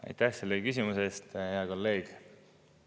Aitäh selle küsimuse eest, hea kolleeg!